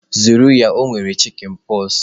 Zere ya o nwere chikinpoksi!